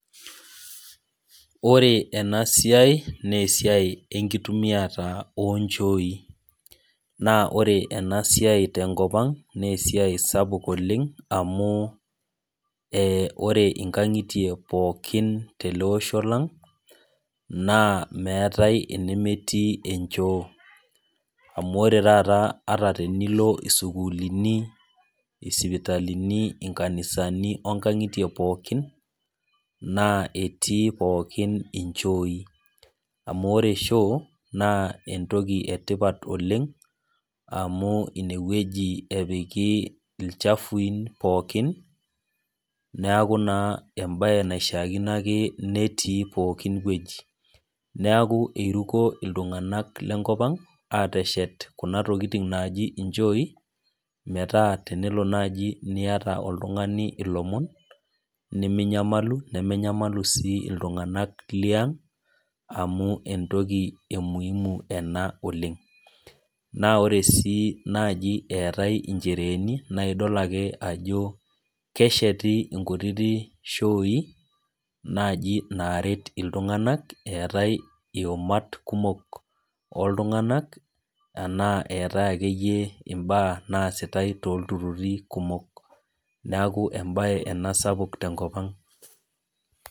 Ore ena siai naa esiai enkitumiata onchoi. Naa ore ena siai tenkopang naa esiai sapuk oleng amu ore nkangitie pookin tele osho lang, naa meetae enemetii enchoo. Amu ata taata tenilo sukuulini ,sipitalini ,nkanisani onkangitie pookin naa etii pookin nchoooi. Amu ore shoo naa naa enetipat oleng amu ineweji epiki ilchafui pookin, neeku embae naake naishaakino netii pooki weji. Neeku eiruko iltunganak lenkopang ashet Kuna tokiting naaji nchoi, metaa tenelo naaji oltungani niyata lomon ,niminyamalu nemenyamalu sii iltunganak Liang amu entoki emuimu ena oleng. Naa ore sii naaji eetae nchereeni na idol ake ajo kesheti naaji nkutitio shooi naret iltunganak eetae iumat kumok oltunganak enaa enate akeyie mbaa naasitae toltururi kumok. Neeku embae ena sapuk tenkopang.